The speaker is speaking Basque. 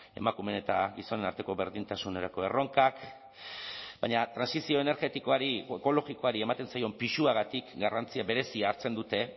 emakumeen eta gizonen arteko berdintasunerako erronkak baina trantsizio energetikoari edo ekologikoari ematen zaion pisuagatik garrantzia berezia hartzen dute